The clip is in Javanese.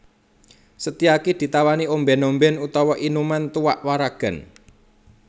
Setyaki ditawani ombèn ombèn utawa inuman tuak waragan